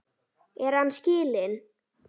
Er hann skilinn?